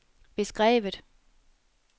beskrevet